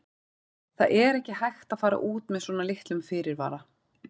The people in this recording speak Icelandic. Það er ekki hægt að fara út með svona litlum fyrirvara.